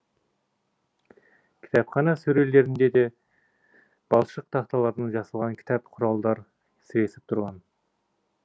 кітапхана сөрелерінде де балшық тақталардан жасалған кітап құралдар сіресіп тұрған